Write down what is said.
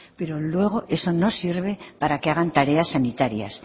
pero luego eso no sirve para que hagan tareas sanitarias